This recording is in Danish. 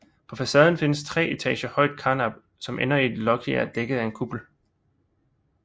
På facaden findes et tre etager højt karnap som ender i en loggia dækket af en kuppel